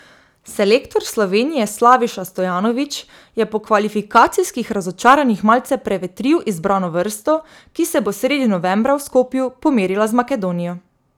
Selektor Slovenije Slaviša Stojanović je po kvalifikacijskih razočaranjih malce prevetril izbrano vrsto, ki se bo sredi novembra v Skopju pomerila z Makedonijo.